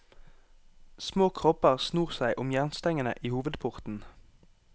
Små kropper snor seg om jernstengene i hovedporten.